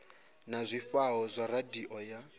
na zwifhao zwa radio ya